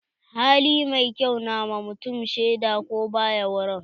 Hali mai kyau na wa mutum shaida ko ba ya wurin.